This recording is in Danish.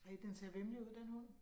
ej, den ser væmmelig ud ik, den hund